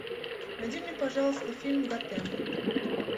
найди мне пожалуйста фильм готэм